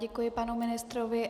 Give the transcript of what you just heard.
Děkuji panu ministrovi.